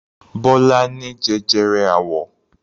Bọ́lá ní jẹjẹrẹ àwọ.